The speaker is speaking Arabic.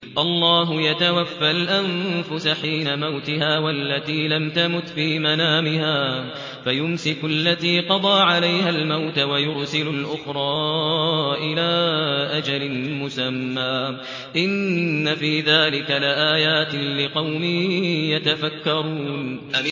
اللَّهُ يَتَوَفَّى الْأَنفُسَ حِينَ مَوْتِهَا وَالَّتِي لَمْ تَمُتْ فِي مَنَامِهَا ۖ فَيُمْسِكُ الَّتِي قَضَىٰ عَلَيْهَا الْمَوْتَ وَيُرْسِلُ الْأُخْرَىٰ إِلَىٰ أَجَلٍ مُّسَمًّى ۚ إِنَّ فِي ذَٰلِكَ لَآيَاتٍ لِّقَوْمٍ يَتَفَكَّرُونَ